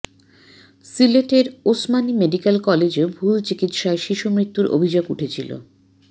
সিলেটের ওসমানী মেডিকেল কলেজেও ভুল চিকিৎসায় শিশুমৃত্যুর অভিযোগ উঠেছিল